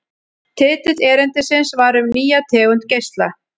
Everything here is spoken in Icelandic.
Titill erindisins var Um nýja tegund geisla.